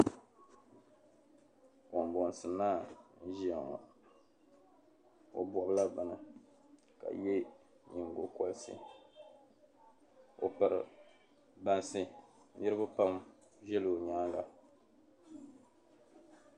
Kambɔnsi naa n-ʒia ŋɔ o bɔbila bini ka ye nyiŋgokɔriti o piri bansi niriba pam zala ŋɔ nyaaŋga.